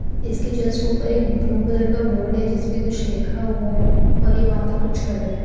इसके जस्ट ऊपर एक ब्लू कलर का बोर्ड है जिसमें कुछ लिखा हुआ है और ये वहां पर कुछ कर रहे हैं।